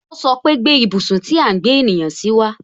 O sọpe "Gbé ibùsùn tí à ń gbé ènìyàn si wa